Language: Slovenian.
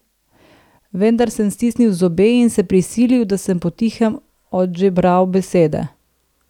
Vendar sem stisnil zobe in se prisilil, da sem potihem odžebral besede.